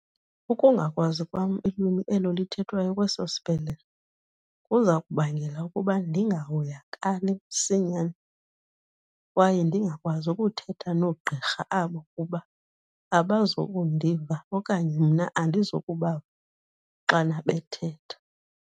Ukungakwazi kwam ilwimi elo lithethwayo kweso sibhedlele kuza kubangela ukuba ndingahoyakali msinyane kwaye ndingakwazi ukuthetha noogqirha abo kuba abazukundiva okanye mna andizukubava xana bethetha.